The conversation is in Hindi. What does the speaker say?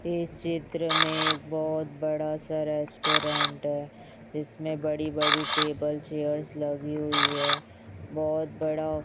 इस चित्र में बहोत बड़ा सा रेस्टोरेंट है। इसमें बड़ी बड़ी टेबल चेयर्स लगी हुई है। बहोत बड़ा--